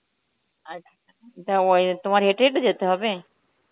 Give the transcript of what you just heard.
আচ্ছা দাওই~ তোমার হেঁটেই তো যেতে হবে?